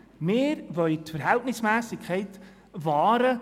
Wir wollen die Verhältnismässigkeit wahren.